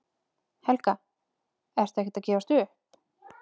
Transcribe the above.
Helga: Ertu ekkert að gefast upp?